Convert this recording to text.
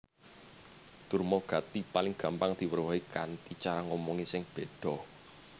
Durmagati paling gampang diwerohi kanthi cara ngomongé sing béda